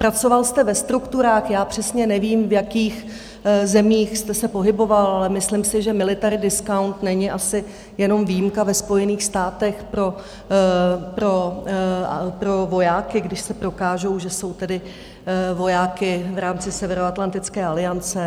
Pracoval jste ve strukturách, já přesně nevím, v jakých zemích jste se pohyboval, ale myslím si, že military discount není asi jenom výjimka ve Spojených státech pro vojáky, když se prokážou, že jsou tedy vojáky v rámci Severoatlantické aliance.